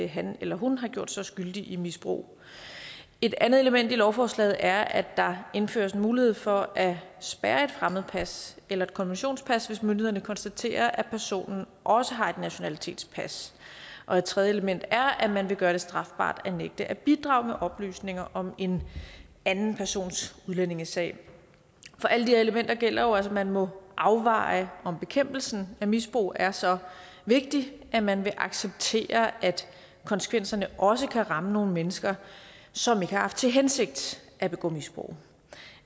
han eller hun har gjort sig skyldig i misbrug et andet element i lovforslaget er at der indføres en mulighed for at spærre et fremmedpas eller et konventionspas hvis myndighederne konstaterer at personen også har et nationalitetspas og et tredje element er at man vil gøre det strafbart at nægte at bidrage med oplysninger om en anden persons udlændingesag for alle disse elementer gælder jo at man må afveje om bekæmpelsen af misbrug er så vigtig at man vil acceptere at konsekvenserne også kan ramme nogle mennesker som ikke har haft til hensigt at begå misbrug